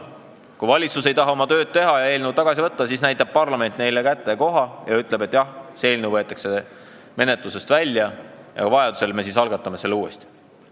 Kui valitsus ei taha oma tööd teha ja eelnõu tagasi võtta, siis näitab parlament valitsusele koha kätte ja ütleb, et jah, see eelnõu võetakse menetlusest välja ja vajaduse korral me algatame selle uuesti.